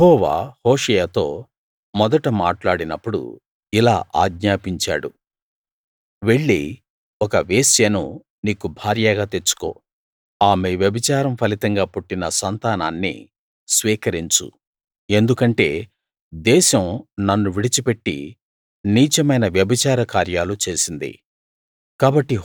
యెహోవా హోషేయతో మొదట మాట్లాడినప్పుడు ఇలా ఆజ్ఞాపించాడు వెళ్ళి ఒక వేశ్యను నీకు భార్యగా తెచ్చుకో ఆమె వ్యభిచారం ఫలితంగా పుట్టిన సంతానాన్ని స్వీకరించు ఎందుకంటే దేశం నన్ను విడిచిపెట్టి నీచమైన వ్యభిచార కార్యాలు చేసింది